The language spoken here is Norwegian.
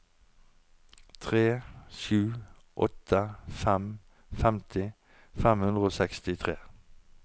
tre sju åtte fem femti fem hundre og sekstitre